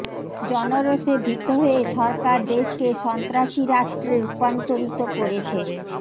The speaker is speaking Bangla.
জনরোষে ভীত হয়ে সরকার দেশকে সন্ত্রাসী রাষ্ট্রে রূপান্তরিত করেছে